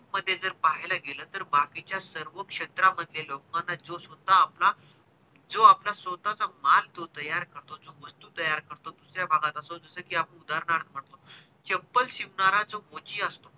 मध्ये जर पाहायला गेलं तर बाकीच्या सर्व क्षेत्रा मध्ये लोकाने जो सुद्धा आपला जो आपला स्वतः चा माल जो तयार करतो जो वस्तू तयार करतो दुसऱ्या भागात असो जस कि आपण उदारणार्थ म्हणतो चप्पल शिवणारा जो मोची असतो